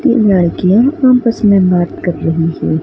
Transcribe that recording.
तीन लड़कियां आपस में बात कर रही है।